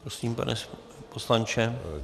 Prosím, pane poslanče.